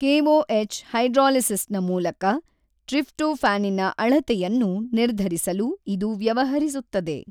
KOH ಹೈಡ್ರಾಲಿಸಿಸಿನ ಮೂಲಕ ಟ್ರಿಪ್ಟೊಫಾನಿನ ಅಳತೆಯವನ್ನು ನಿರ್ಧರಿಸಲು ಇದು ವ್ಯವಹರಿಸುತ್ತದೆ.